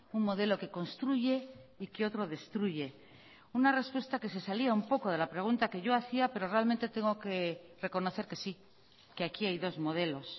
un modelo que construye y que otro destruye una respuesta que se salía un poco de la pregunta que yo hacía pero realmente tengo que reconocer que sí que aquí hay dos modelos